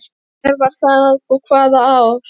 Hver var það og hvaða ár?